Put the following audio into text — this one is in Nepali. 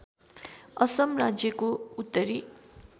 असम राज्यको उत्तरी